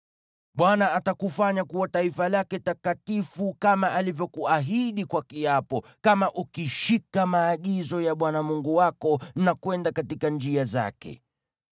Bwana atakufanya kuwa taifa lake takatifu, kama alivyokuahidi kwa kiapo, kama ukishika maagizo ya Bwana Mungu wako na kwenda katika njia zake.